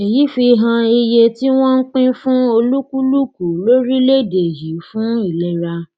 èyí fi hàn iye tí wọn pín fún olúkúlùkù lórílẹèdè yìí fún ìlera